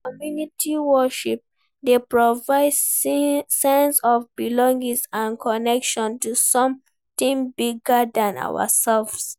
Community worship dey provide sense of belonging and connection to something bigger than ourselves.